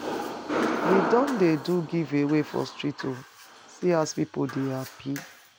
We don dey do give away for street o, see as pipu dey hapi.